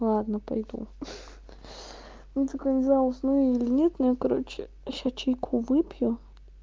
ладно пойду ну только я не знаю усну я или нет но я короче сейчас чайку выпью